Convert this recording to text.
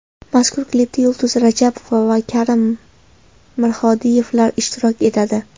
Mazkur klipda Yulduz Rajabova va Karim Mirhodiyevlar ishtirok etadi.